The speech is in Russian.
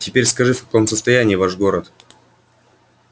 теперь скажи в каком состоянии ваш город